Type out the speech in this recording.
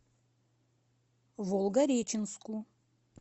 волгореченску